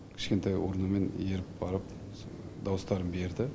кішкентай урнамен еріп барып дауыстарын берді